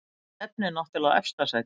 Maður stefnir náttúrlega á efsta sætið